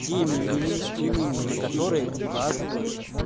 теми или иными на которые указывают